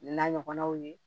N'a ɲɔgɔnnaw ye